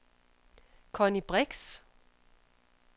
Connie Brix